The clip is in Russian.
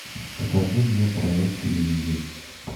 покажи мне проект минди